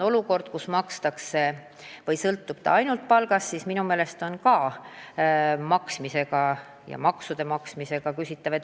Praegu sõltub pension suurel määral palgast ja minu meelest on ümbrikupalga ja maksude maksmisega ikka küsimusi.